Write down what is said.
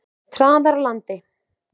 Traðarlandi